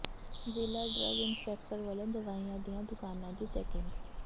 ਜ਼ਿਲ੍ਹਾ drug inspector ਵੱਲੋਂ ਦਵਾਈਆਂ ਦੀਆਂ ਦੁਕਾਨਾਂ ਦੀ ਚੈਕਿੰਗ